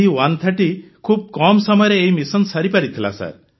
C130 ଖୁବ୍ କମ ସମୟରେ ଏହି ମିଶନ ସାରିପାରିଥିଲା